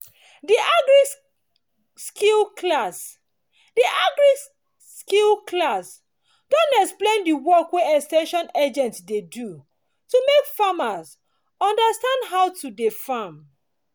the agri-skill class the agri-skill class don explain the work wey ex ten sion agent dey do to make farmers understand how to dey farm